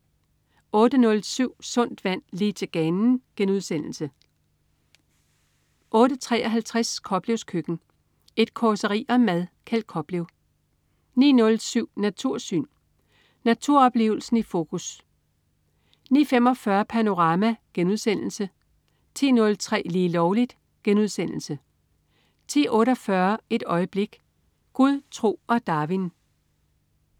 08.07 Sundt vand, lige til ganen* 08.53 Koplevs Køkken. Et causeri om mad. Kjeld Koplev 09.07 Natursyn. Naturoplevelsen i fokus 09.45 Panorama* 10.03 Lige Lovligt* 10.48 Et Øjeblik. Gud, tro og Darwin